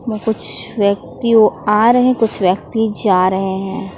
कुछ व्यक्ति आ रहे हैं कुछ व्यक्ति जा रहे हैं।